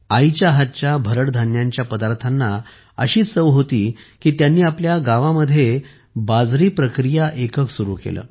आईच्या हातच्या भरड धान्यांच्या पदार्थाना अशी चव होती की त्यांनी आपल्या गावात बाजरी प्रक्रिया एकक सुरू केले